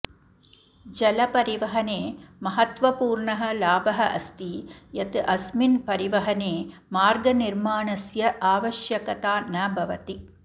जलपरिवहने महत्वपूर्णः लाभः अस्ति यत् अस्मिन् परिवहने मार्गनिर्माणस्य आवश्यकता न भवति